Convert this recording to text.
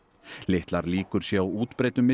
litlar líkur séu á útbreiddum